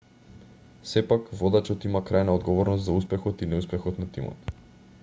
сепак водачот има крајна одговорност за успехот и неуспехот на тимот